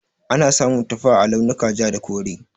Ana samun tufa a launin ja da kore.